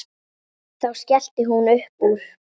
Þá skellti hún upp úr.